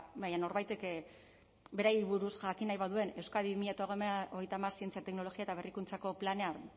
baina norbaitek beraiei buruz jakin nahi badu euskadi bi mila hogeita hamar zientzia teknologia eta berrikuntzako planean